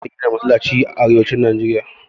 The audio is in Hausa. Anfi gina Masallatai a arewacin Najeriya